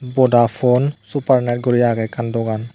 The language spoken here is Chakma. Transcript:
Vodafone super net guri aage ekkan dogan.